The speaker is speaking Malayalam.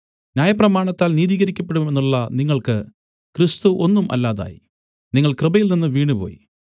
ന്യായപ്രമാണത്താൽ നീതീകരിക്കപ്പെടും എന്നുള്ള നിങ്ങൾക്ക് ക്രിസ്തു ഒന്നും അല്ലാതായി നിങ്ങൾ കൃപയിൽനിന്ന് വീണുപോയി